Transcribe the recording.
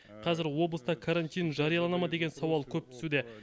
қазір облыста карантин жариялана ма деген сауал көп түсуде